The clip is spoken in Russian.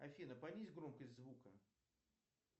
афина понизь громкость звука